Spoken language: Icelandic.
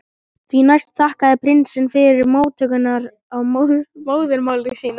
Því næst þakkaði prinsinn fyrir móttökurnar á móðurmáli sínu.